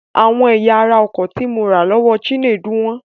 Àwọn ẹ̀yà ara ọkọ̀ tí mo rà lọ́wọ́ Chinedu wọ́n.